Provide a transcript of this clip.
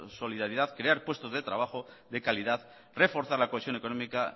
solidaridad crear puestos de trabajo de calidad reforzar la cohesión económica